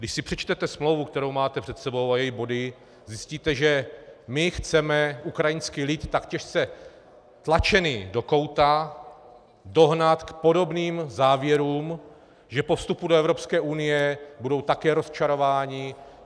Když si přečtete smlouvu, kterou máte před sebou, a její body, zjistíte, že my chceme ukrajinský lid, tak těžce tlačený do kouta, dohnat k podobným závěrům, že po vstupu do Evropské unie budou také rozčarováni.